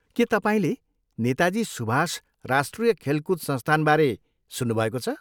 के तपाईँले नेताजी सुभाष राष्ट्रिय खेलकुद संस्थानबारे सुन्नुभएको छ?